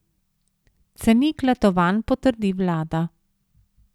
Cenik letovanj potrdi vlada.